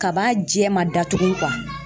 Kaba jɛ ma datugu